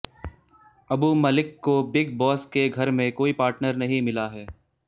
Abu Malik big boss बॉस के घर में कोई पार्टनर नहीं मिला है